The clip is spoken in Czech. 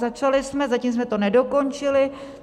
Začali jsme, zatím jsme to nedokončili.